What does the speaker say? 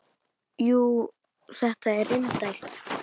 Jú, þetta er indælt